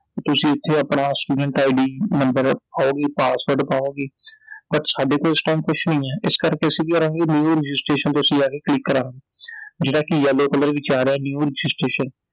ਤੁਸੀਂ ਐਥੇ ਆਪਣਾ studentID ਨੰਬਰ ਪਾਓਗੇ password ਪਾਓਗੇ I But ਸਾਡੇ ਕੋਲ ਇਸ time ਕੁਛ ਨੀ ਐ I ਇਸ ਕਰਕੇ ਅਸੀਂ ਕੀ ਕਰਾਂਗੇ New registration ਤੇ ਅਸੀਂ ਜਾਕੇ click ਕਰਾਂ ਜਿਹੜਾ ਕਿ Yellow color ਵਿਚ ਆ ਰਿਹੈ New Registration